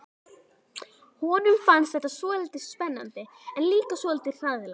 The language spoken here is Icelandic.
Honum fannst þetta svolítið spennandi en líka svolítið hræðilegt.